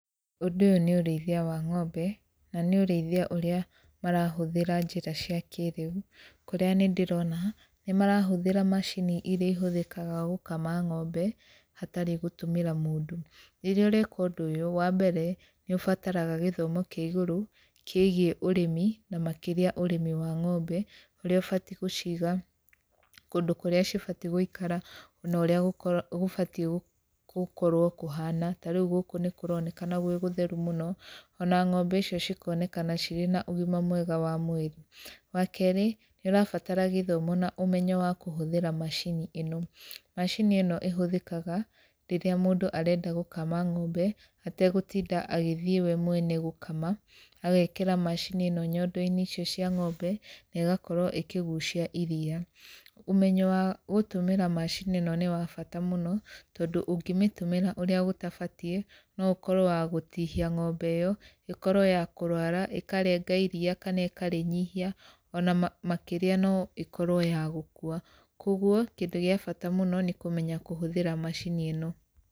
Ũndũ ũyũ nĩ ũrĩithia wa ng'ombe, na nĩ ũrĩithia ũrĩa marahũthĩra njĩra cia kĩrĩu, kũrĩa nĩ ndĩrona, nĩ marahũthĩra macini irĩa ihũthĩkaga gũkama ng'ombe hatarĩ gũtũmĩra mũndũ. Rĩrĩa ũreka ũndũ ũyũ, wa mbere nĩ ũbataraga gĩthomo kĩa igũrũ, kĩgiĩ ũrĩmi na makĩria ũrĩmi wa ng'ombe ũrĩa ũbatiĩ gũciga, kũndũ kũrĩa cibatiĩ gũikara, na ũrĩa gũbatiĩ gũkorwo kũhana, ta rĩu gũkũ nĩ kũronekana gwĩ gũtheru mũno, ona ng'ombe icio cikonekana cirĩ na ũgima mwega wa mwĩrĩ. Wa kerĩ, nĩ ũrabatara gĩthomo na ũmenyo wa kũhũthĩra macini ĩno. Macini ĩno ĩhũthĩkaga rĩrĩa mũndũ arenda gũkama ng'ombe, ategũtinda agĩthiĩ we mwene gũkama, agekĩra macini ĩno nyondo-inĩ icio cia ng'ombe na ĩgakorwo ĩkĩgucia iria. Ũmenyo wa gũtũmĩra macini ĩno nĩ wa bata mũno, tondũ ũngĩmĩtũmĩra ũrĩa gũtabatiĩ, no ũkorwo wa gũtihia ng'ombe ĩyo, ĩkorwo ya kũrwara, ĩkarenga iria kana ĩkarĩnyihia, ona makĩria no ĩkorwo ya gũkua. Koguo, kĩndũ gĩa bata mũno nĩ kũmenya kũhũthĩra macini ĩno.